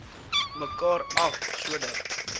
mekaar af sodat